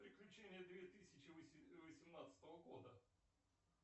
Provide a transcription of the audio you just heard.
приключения две тысячи восемнадцатого года